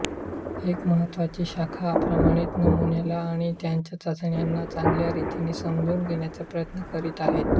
एक महत्त्वाची शाखा प्रमाणित नमुन्याला आणि त्याच्या चाचण्यांना चांगल्या रितीने समजून घेण्याचे प्रयत्ने करीत आहेत